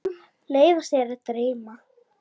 Leyfa sér að dreyma.